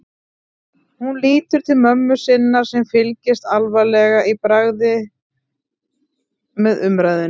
Hún lítur til mömmu sinnar sem fylgist alvarleg í bragði með umræðunni.